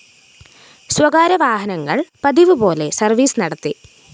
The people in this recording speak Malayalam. സ്വകാര്യ വാഹനങ്ങള്‍ പതിവുപോലെ സര്‍വീസ് നടത്തി